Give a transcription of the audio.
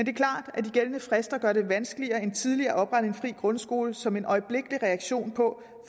er klart at de gældende frister gør det vanskeligere end tidligere at oprette en fri grundskole som en øjeblikkelig reaktion på